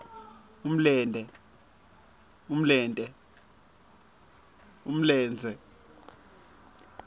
umlente